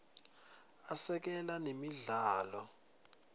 asekela nemidlalo